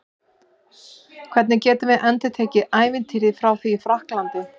Hvernig getum við endurtekið ævintýrið frá því í Frakklandi?